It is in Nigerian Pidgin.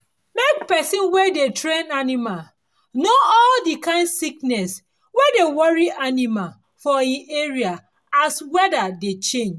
make person wey dey train animal know all the kind sickness wey dey worry animal for e area as weather dey change